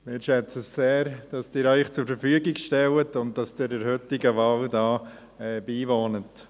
Wir schätzen es sehr, dass Sie sich zur Verfügung stellen und dass Sie der heutigen Wahl hier beiwohnen.